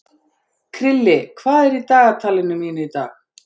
Krilli, hvað er í dagatalinu mínu í dag?